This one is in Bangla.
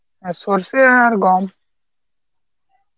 হ্যাঁ, সরষে আর গম.